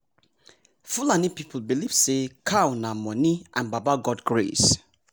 fulani people believe say cow nah money and baba god grace